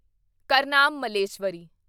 Karnam Malleswari